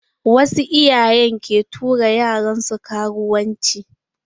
Wasu iyayen ke tura yaran su karuwanci.